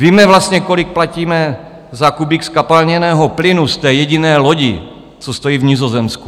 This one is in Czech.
Víme vlastně, kolik platíme za kubík zkapalněného plynu z té jediné lodi, co stojí v Nizozemsku?